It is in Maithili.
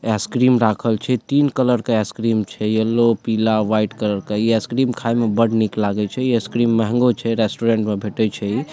आइस-क्रीम राखल छै तीन कलर के आइस-क्रीम छै येलो पीला व्हाइट कलर का इ आइस-क्रीम खाय में बड़ निक लागे छै इ आइस-क्रीम महंगो छै रेस्टोरेंट में भेंटे छै इ।